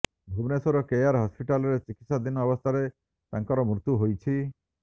Bhubaneswar care ହସ୍ପିଟାଲରେ ଚିକିତ୍ସାଧିନ ଅବସ୍ଥାରେ ତାଙ୍କର ମୃତ୍ୟୁ ହୋଇଛି